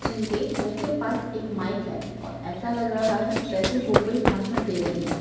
जिनके मुँह के पास एक माइक है और ऐसा लग रहा है जेसे वो कोई भाषण दे रही हैं।